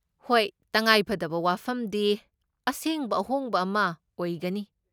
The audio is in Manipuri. ꯍꯣꯏ, ꯇꯉꯥꯏꯐꯗꯕ ꯋꯥꯐꯝꯗꯤ ꯑꯁꯦꯡꯕ ꯑꯍꯣꯡꯕ ꯑꯃ ꯑꯣꯏꯒꯅꯤ ꯫